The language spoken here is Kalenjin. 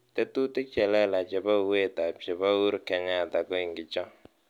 Tetutik chelelach chebo uwet chebo Uhuru Kenyatta ko ingicho